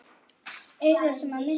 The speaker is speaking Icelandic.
Augað sem hann missti.